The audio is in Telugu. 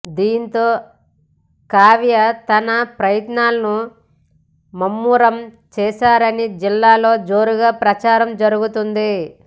దీంతో కావ్య తన ప్రయత్నాలను ముమ్మరం చేశారని జిల్లాలో జోరుగా ప్రచారం జరుగుతోంది